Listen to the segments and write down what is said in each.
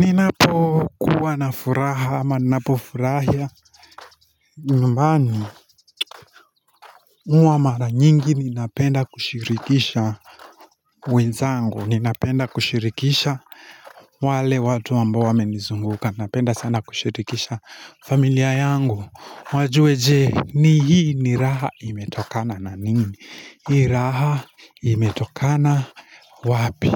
Ninapo kuwa na furaha ama ninapo furahia nyumbani uwa mara nyingi ninapenda kushirikisha wenzangu ninapenda kushirikisha wale watu ambao wame nizunguka ninapenda sana kushirikisha familia yangu wajue je ni hii ni raha imetokana na nini Hii raha imetokana wapi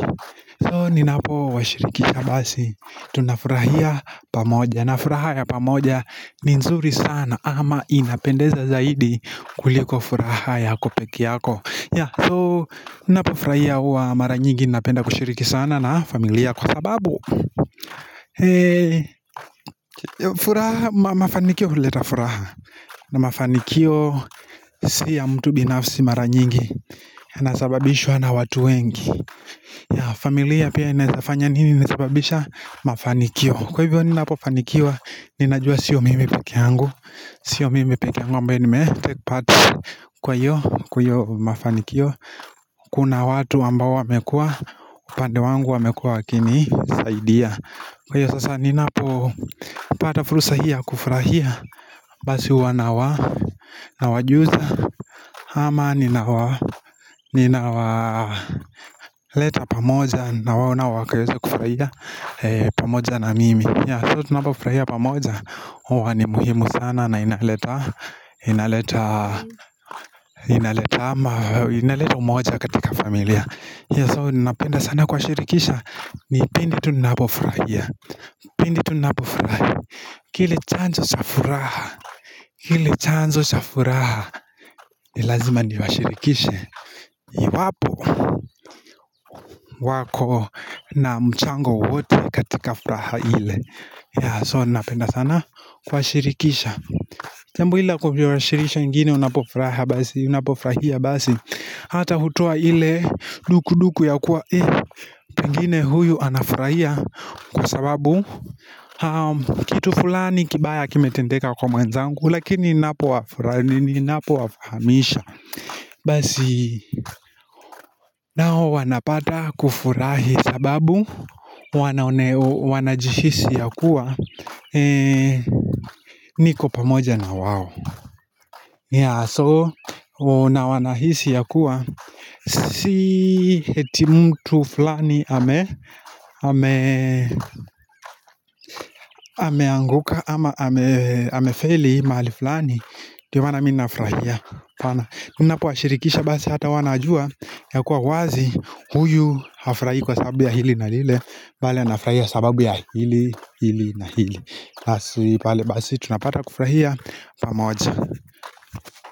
So ninapo washiriki kabasi Tunafurahia pamoja na furaha ya pamoja ni nzuri sana ama inapendeza zaidi kuliko furaha yako pekeyako So ninapo furahia wa maranyigi Ninapenda kushiriki sana na familia kwa sababu furaha mafanikio huleta furaha na mafanikio si ya mtu binafsi mara nyingi Anasababishwa na watu wengi familia pia inaezafanya nini Inasababisha mafanikio Kwa hivyo ninapo fanikiwa Nina jua sio mimi peke yangu Sio mimi peke yangu ambaye nime take part Kwa hiyo kwa iyo mafanikio Kuna watu ambao wamekua upande wangu wamekua wakini saidia Kwa hiyo sasa ninapo pata fursa hiyo ya kufurahia Basi huwa nawa Nawajuza ama ninawa Ninawa leta pamoja na wao na wakaweza kufuraia pamoja na mimi So tunapofuraia pamoja huwa ni muhimu sana na inaleta Inaleta Inaleta ama Inaleta umoja katika familia So napenda sana kuwashirikisha ni pindi tu napofuraia Pindi tu napofurahi kile chanzo cha furaha kile chanzo cha furaha ni lazima niwashirikishe Iwapo wako na mchango wowote katika furaha ile ya so napenda sana kuwashirikisha jambo la kuwashirisha wengine unapofraha basi unapofurahia basi Hata hutoa ile duku duku ya kuwa eh pengine huyu anafurahia kwa sababu kitu fulani kibaya kimetendeka kwa mwenzangu Lakini ninapo wafraha ni ninapo wafahamisha Basi nao wanapata kufurahi sababu wanajihisi ya kuwa niko pamoja na wao So na wanahisi yakuwa si eti mtu fulani ameanguka ama hamefeli mahali fulani ndio maana mi nafurahia Mi ninapowashirikisha basi hata wanajua Yakuwa wazi huyu hafurahi kwa sababu ya hili na lile Bali anafurahia sababu ya hili, hili na hili Basi tunapata kufurahia pamoja.